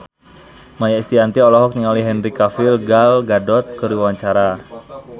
Maia Estianty olohok ningali Henry Cavill Gal Gadot keur diwawancara